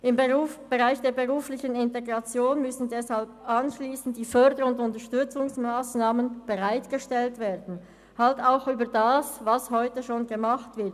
Im Bereich der beruflichen Integration müssen deshalb anschliessend die Förder- und Unterstützungsmassnahmen bereitgestellt werden – auch über das hinaus, was heute schon gemacht wird.